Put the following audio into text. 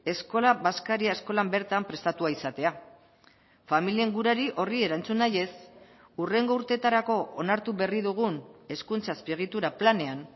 eskola bazkaria eskolan bertan prestatua izatea familien gurari horri erantzun nahiez hurrengo urteetarako onartu berri dugun hezkuntza azpiegitura planean